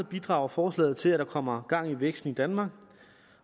bidrager forslaget til at der kommer gang i væksten i danmark